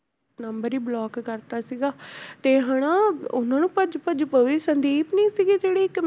Number ਹੀ block ਕਰ ਦਿੱਤਾ ਸੀਗਾ ਤੇ ਹਨਾ ਉਹਨਾਂ ਨੂੰ ਭੱਜ ਭੱਜ ਪਵੇ ਸੰਦੀਪ ਨੀ ਸੀਗੀ ਜਿਹੜੀ ਇੱਕ